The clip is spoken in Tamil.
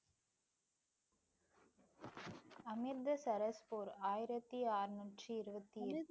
அமிர்தசரஸ் போர், ஆயிரத்தி அறுநூற்றி இருபத்தி ஏழு.